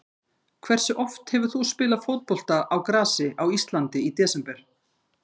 Hversu oft hefur þú spilað fótbolta á grasi á Íslandi í desember?